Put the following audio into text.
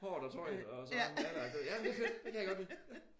Håret og tøjet og sådan ja tak jamen det er fedt. Det kan jeg godt lide